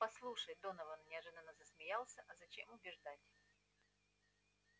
послушай донован неожиданно засмеялся а зачем убеждать